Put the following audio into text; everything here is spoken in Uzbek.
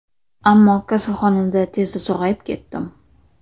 Ammo kasalxonada tezda sog‘ayib ketdim.